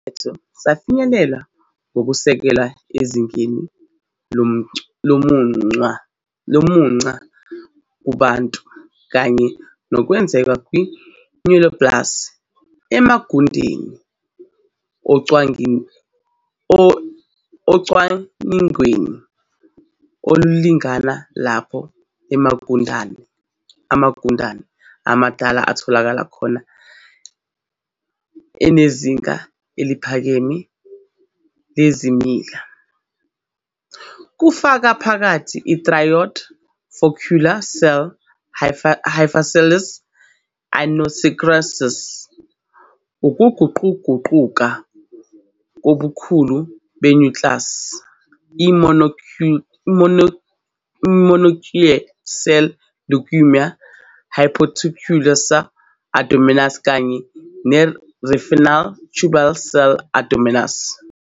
Lesi siphetho safinyelelwa ngokusekelwe ezingeni lokumunca kubantu kanye nokwenzeka kwe-neoplasms emagundeni ocwaningweni oluningana lapho amagundane amadala atholakala khona enezinga eliphakeme lezimila, kufaka phakathi i-thyroid follicular cell hyperplasias, i-anisokaryosis, ukuguquguquka kobukhulu be-nucleus, i-mononuclear cell leukemia, i-hepatocellular adenomas kanye ne-renal tubule cell adenomas.